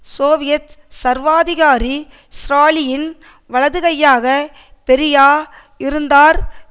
Soviet சர்வாதிகாரி ஸ்ராலியின் வலதுகையாக பெரியா இருந்தார்